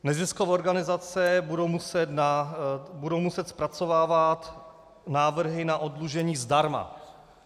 Neziskové organizace budou muset zpracovávat návrhy na oddlužení zdarma.